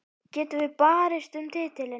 Getum við barist um titilinn?